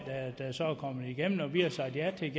så er kommet igennem vi har sagt ja til